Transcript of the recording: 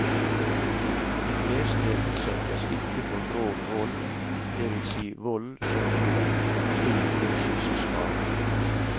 De fleste utsettes ikke for grov vold, det vil si vold som gir dem stor fysisk skade.